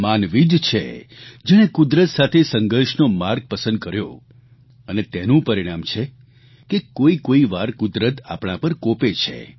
માનવી જ છે જેણે કુદરત સાથે સંઘર્ષનો માર્ગ પસંદ કર્યો અને તેનું પરિણામ છે કે કોઇકોઇ વાર કુદરત આપણા પર કોપે છે